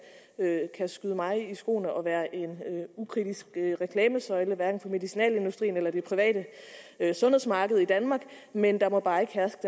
skyde mig i skoene at være en ukritisk reklamesøjle hverken for medicinalindustrien eller det private sundhedsmarked i danmark men der må bare ikke herske